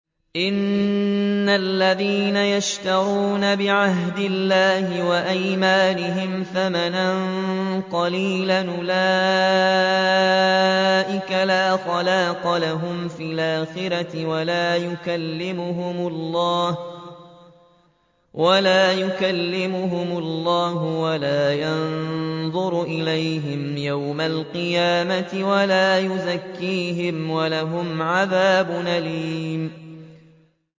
إِنَّ الَّذِينَ يَشْتَرُونَ بِعَهْدِ اللَّهِ وَأَيْمَانِهِمْ ثَمَنًا قَلِيلًا أُولَٰئِكَ لَا خَلَاقَ لَهُمْ فِي الْآخِرَةِ وَلَا يُكَلِّمُهُمُ اللَّهُ وَلَا يَنظُرُ إِلَيْهِمْ يَوْمَ الْقِيَامَةِ وَلَا يُزَكِّيهِمْ وَلَهُمْ عَذَابٌ أَلِيمٌ